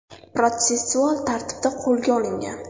protsessual tartibda qo‘lga olingan.